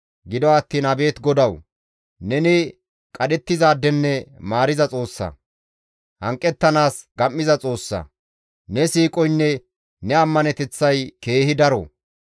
Gido attiin abeet Godawu! Neni qadhettizaadenne maariza Xoossa; hanqettanaas gam7iza Xoossa; ne siiqoynne ne ammaneteththay keehi daro.